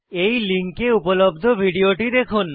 এই লিঙ্কে উপলব্ধ ভিডিওটি দেখুন